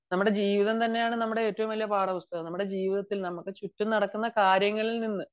നമ്മുടെ ജീവിതം തന്നെയാണ് ഏറ്റവും വലിയ പാഠപുസ്തകം . നമ്മുടെ ജീവിതത്തിൽ നമുക്ക് ചുറ്റും നടക്കുന്ന കാര്യങ്ങളിൽ നിന്ന്